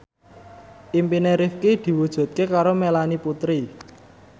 impine Rifqi diwujudke karo Melanie Putri